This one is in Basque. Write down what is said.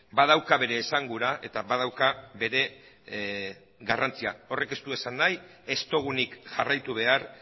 badauka bere esangura eta badauka bere garrantzia horrek ez du esan nahi ez dugunik jarraitu behar